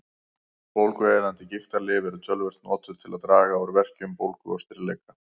Bólgueyðandi gigtarlyf eru töluvert notuð til að draga úr verkjum, bólgu og stirðleika.